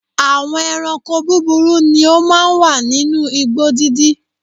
Àwọn ẹranko búburú ni ó máa ń wà nínú igbó dídí.